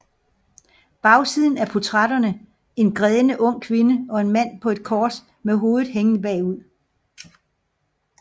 Bagsiden portrætterer en grædende ung kvinde og en mand på et kors med hovedet hængende bagud